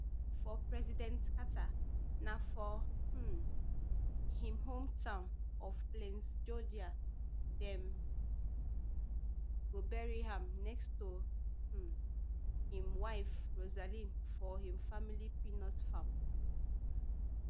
for president carter na for um im hometown of plains georgia dem go bury am next to um im wife rosalynn for im family peanut farm